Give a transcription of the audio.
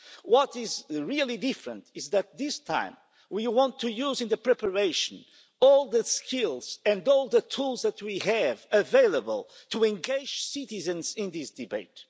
What is really different is that this time, we want to use in the preparation all the skills and all the tools that we have available to engage citizens in this debate.